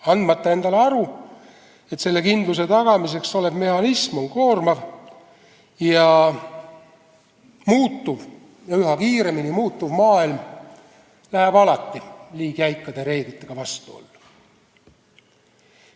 Ei anta endale aru, et seda kindlust tagav mehhanism on koormav ja üha kiiremini muutuv maailm läheb alati liiga jäikade reeglitega vastuollu.